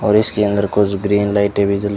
और इसके अंदर कुछ ग्रीन लाइटे भी जली--